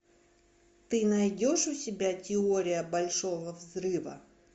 ты найдешь у себя теория большого взрыва